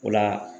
O la